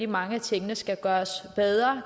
mange af tingene skal gøres bedre